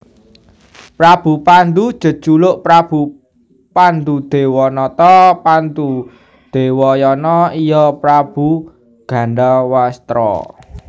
Prabu Pandhu jejuluk Prabu Pandhudewanata Pandhudewayana iya Prabu Gandhawastra